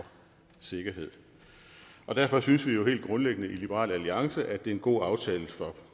sikkerhed derfor synes vi jo helt grundlæggende i liberal alliance at det er en god aftale for